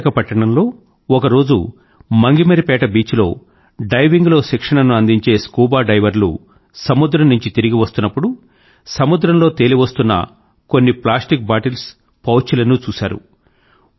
విశాఖపట్నం లో ఒకరోజు మంగమరిపేట బీచ్ లో డైవింగ్ లో శిక్షణ ను అందించే స్కూబా డైవర్లు సముద్రం నుంచి తిరిగి వస్తున్నప్పుడు సముద్రం లో తేలివస్తున్న కొన్ని ప్లాస్టిక్ బాటిల్స్ పౌచ్ లనూ చూశారు